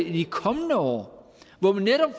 i de kommende år hvor vi netop